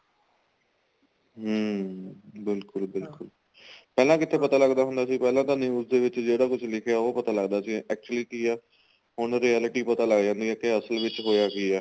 ਹਮ ਬਿਲਕੁਲ ਬਿਲਕੁਲ ਪਹਿਲਾਂ ਕਿੱਥੇ ਪਤਾ ਲੱਗਦਾ ਹੁੰਦਾ ਸੀ ਪਹਿਲਾਂ ਤਾ news ਦੇ ਵਿੱਚ ਜੇ ਤਾਂ ਕੁੱਝ ਲਿੱਖਿਆ ਹੋਊ ਉਹ ਪਤਾ ਲੱਗਦਾ ਸੀ actually ਕੀ ਏ ਹੁਣ reality ਪਤਾ ਲੱਗ ਜਾਂਦੀ ਕੀ ਅਸਲ ਵਿੱਚ ਹੋਇਆ ਕੀ ਏ